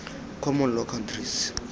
common law countries